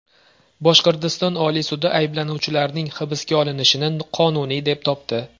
Boshqirdiston Oliy sudi ayblanuvchilarning hibsga olinishini qonuniy deb topdi.